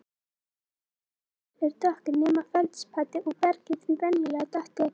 Frumsteindirnar eru dökkar nema feldspatið og bergið því venjulega dökkt eða grænleitt.